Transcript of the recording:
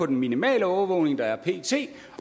den minimale overvågning der er pt